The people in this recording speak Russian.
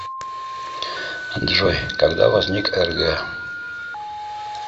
джой когда возник рг